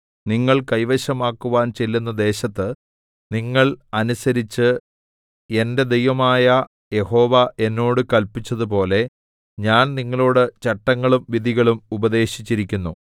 നിങ്ങൾ കൈവശമാക്കുവാൻ ചെല്ലുന്ന ദേശത്ത് നിങ്ങൾ അനുസരിച്ച് എന്റെ ദൈവമായ യഹോവ എന്നോട് കല്പിച്ചതുപോലെ ഞാൻ നിങ്ങളോട് ചട്ടങ്ങളും വിധികളും ഉപദേശിച്ചിരിക്കുന്നു